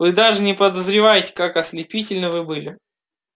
вы даже не подозреваете как ослепительны вы были